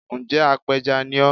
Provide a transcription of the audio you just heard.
Ǹ jẹ́ apẹja ni ọ́